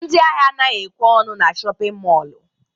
Ndị ahịa anaghị ekwe ọnụ na shọpịn mọlụ.